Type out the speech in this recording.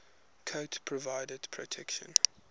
coat provides protection